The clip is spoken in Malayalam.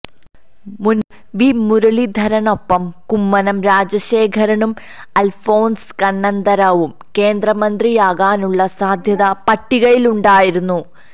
മുന്പ് വി മുരളീധരനൊപ്പം കുമ്മനം രാജശേഖരനും അൽഫോൺസ് കണ്ണന്താനവും കേന്ദ്രമന്ത്രിയാകാനുള്ള സാധ്യതാ പട്ടികയിലുണ്ടായിരുന്നു